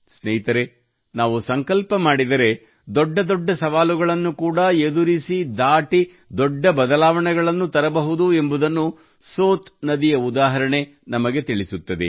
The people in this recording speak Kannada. ಸ್ನೇಹಿತರೇ ನಾವು ಸಂಕಲ್ಪ ಮಾಡಿದರೆ ದೊಡ್ಡ ದೊಡ್ಡ ಸವಾಲುಗಳನ್ನು ಕೂಡಾ ಎದುರಿಸಿ ದಾಟಿ ದೊಡ್ಡ ಬದಲಾವಣೆಗಳನ್ನು ತರಬಹುದು ಎಂಬುದನ್ನು ಸೋತ್ ನದಿಯ ಉದಾಹರಣೆ ನಮಗೆ ತಿಳಿಸುತ್ತದೆ